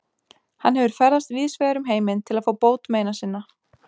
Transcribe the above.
Hann hefur ferðast víðsvegar um heiminn til að fá bót meina sinna.